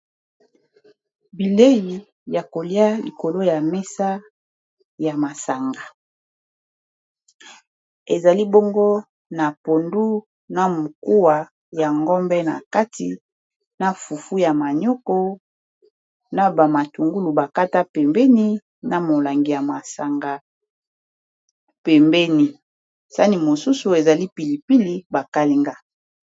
bilei ya kolia likolo ya mesa na masanga ezali bongo na pondu na mokuwa ya ngombe na kati na fufu ya manioko na bamatungulu bakata pembeni na molangi ya masanga pembeni sani mosusu ezali pilipili bakalinga